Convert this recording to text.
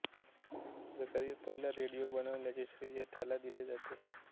जगातील पहिला रेडियो बनवल्याचे श्रेय त्याला दिले जाते